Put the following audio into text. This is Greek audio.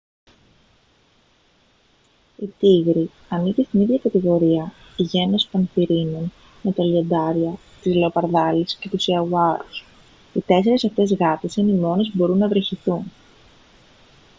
η τίγρη ανήκει στην ίδια κατηγορία γένος πανθηρίνων με τα λιοντάρια τις λεοπαρδάλεις και τους ιαγουάρους. οι τέσσερις αυτές γάτες είναι οι μόνες που μπορούν να βρυχηθούν